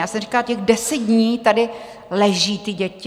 Já jsem říkala: Těch deset dnů tady leží ty děti?